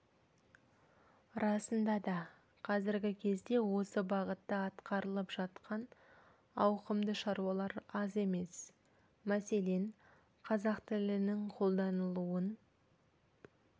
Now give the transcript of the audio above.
расында да қазіргі кезде осы бағытта атқарылып жатқан ауқымды шаруалар аз емес мәселен қазақ тілінің қолданылуын